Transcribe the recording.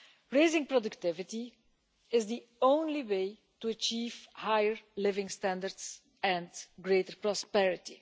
Raising productivity is the only way to achieve higher living standards and greater prosperity.